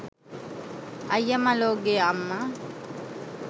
අයිය මලෝ ගේ අම්මා